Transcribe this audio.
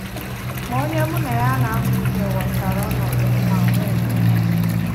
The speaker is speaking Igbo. Ma onye mụ na ya na-amụ ihe ghọtara ọnọdụ m ma nwee ndidi